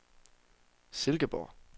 Silkeborg